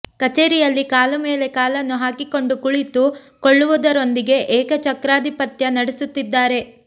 ಕಚೆರಿಯಲ್ಲಿ ಕಾಲು ಮೇಲೆ ಕಾಲನ್ನು ಹಾಕಿಕೊಂಡು ಕುಳಿತುಕೊಳ್ಳುವುದರೊಂದಿಗೆ ಏಕ ಚಕ್ರಾಧಿಪತ್ಯ ನಡೆಸುತ್ತಿದ್ದಾರೆ